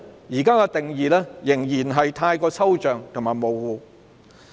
現在的定義仍然太抽象和模糊。